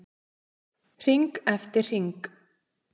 Hring eftir hring.